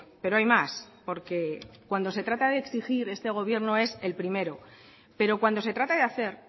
pero hay más porque cuando se trata de exigir a este gobierno es el primero pero cuando se trata de hacer